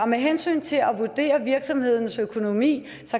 med hensyn til at vurdere virksomhedens økonomi